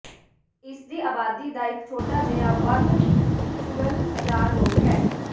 ਇਸ ਦੀ ਆਬਾਦੀ ਦਾ ਇੱਕ ਛੋਟਾ ਜਿਹਾ ਵੱਧ ਕੁਲ੍ਲ ਹਜ਼ਾਰ ਲੋਕ ਹੈ